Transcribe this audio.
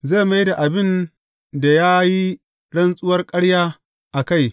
Zai mai da abin da ya yi rantsuwar ƙarya a kai.